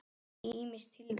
Ýmis tilvik.